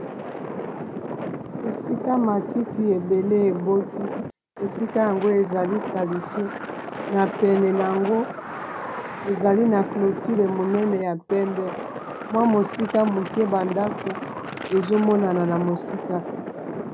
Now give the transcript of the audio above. Esika matiti ebele eboti esika yango ezali salite na pene nango ezali na cloture monene ya pembe mwa mosika moke ba ndako ezomonana na mosika.